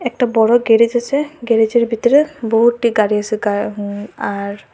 একটা বড় গ্যারেজ আছে গ্যারেজের ভিতরে বহুতটি গাড়ি আসে গার উ আর--